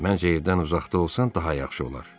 Mənzildən uzaqda olsan daha yaxşı olar.